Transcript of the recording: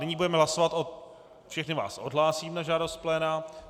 Nyní budeme hlasovat o... všechny vás odhlásím na žádost pléna.